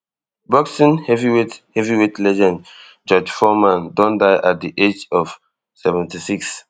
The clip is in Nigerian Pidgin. boxing heavyweight heavyweight legend george foreman don die at di aged of seventy-six